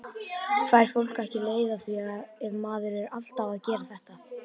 Fær fólk ekki leið á því ef maður er alltaf að gera þetta?